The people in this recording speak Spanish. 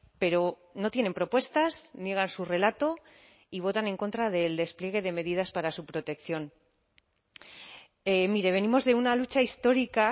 pero no tienen propuestas niegan su relato y votan en contra del despliegue de medidas para su protección mire venimos de una lucha histórica